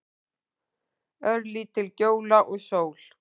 Örlítil gjóla og sól.